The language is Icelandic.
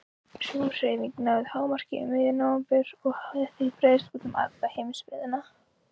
Sú hreyfing náði hámarki um miðjan nóvember og hafði þá breiðst út um alla heimsbyggðina.